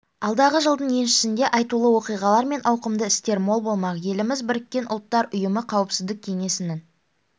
алдағы жылдың еншісінде айтулы оқиғалар мен ауқымды істер мол болмақ еліміз біріккен ұлттар ұйымы қауіпсіздік кеңесінің